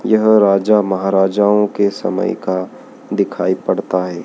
यह राजा महाराजाओं के समय का दिखाई पड़ता है।